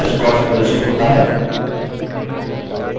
search box प्रदर्शित होता है